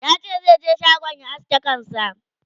tace zata je shagon ta aske kanta